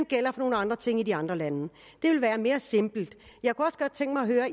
gælder for nogle andre ting i de andre lande det ville være mere simpelt